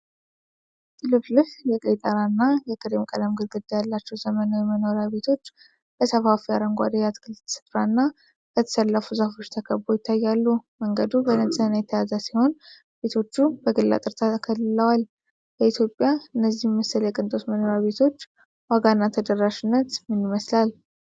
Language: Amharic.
ጥልፍልፍ የቀይ ጣራ እና የክሬም ቀለም ግድግዳ ያላቸው ዘመናዊ መኖሪያ ቤቶች በሰፋፊ አረንጓዴ የአትክልት ስፍራና በተሰለፉ ዛፎች ተከበው ይታያሉ። መንገዱ በንጽህና የተያዘ ሲሆን ቤቶቹ በግል አጥር ተከልለዋል። በኢትዮጵያ እነዚህን መሰል የቅንጦት መኖሪያ ቤቶች ዋጋና ተደራሽነት ምን ይመስላል?